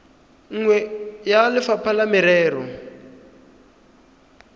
nngwe ya lefapha la merero